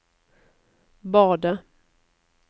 badet